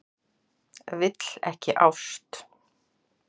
Vill ekki ást.